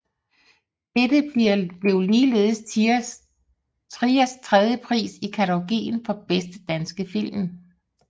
Dette blev ligeledes Triers tredje pris i kategorien for bedste danske film